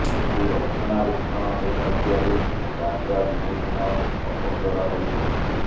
କିନ୍ତୁ ରକ୍ଷଣା ବେକ୍ଷଣ ହେଉ ନ ଥିବାରୁ ରାସ୍ତା ଦିନକୁ ଦିନ ଅପନ୍ତରା ହୋଇ ପଡୁଛି